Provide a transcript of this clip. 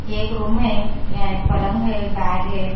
ये एक रूम है यहां एक पलंग है बैग है।